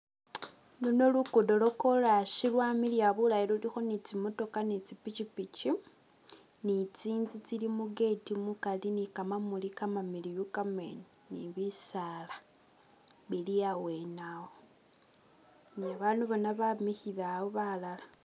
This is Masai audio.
Luno luguudo lwa corasi lwamiliya bulayi lulikho ni tsimotoka ni tsipichipichi ni tsinzu tsili mu gate mukari ni ka kamamuli kamamiliyu kamene ni bisaala bili awene awo ni babandu bona bemikhile awo balala.